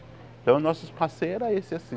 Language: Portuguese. Então nossos passeios era esse assim.